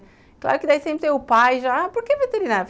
Claro que daí sempre tem o pai já, por que veterinária?